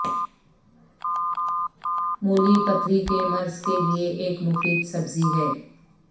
مولی پتھری کے مرض کے لئے ایک مفید سبزی ہے